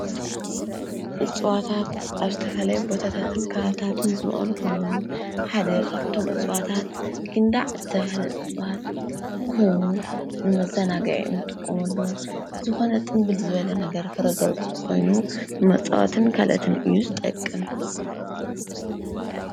እፅዋታት ኣብ ዝተፈላለየ ቦታታትን ከባብታትን ዝቦቅሉ ኮይኖም ሓደ ካብቶም እፅዋታት ጊንዳዕ ዝተበሃለ እፅዋት ኮይኑ ንመዘናግዒ ንጥቀመሉ ዝኾነ ጥምብል ዝበለ ነገር ፍረ ዘውፅእ ኮይኑ ንመፃወትን ካልኦትን እዩ ዝጠቅም?